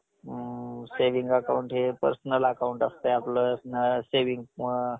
अ saving account हे personal account असतंय आपलं saving